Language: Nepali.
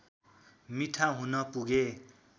मिठा हुन पुगे